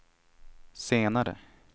senare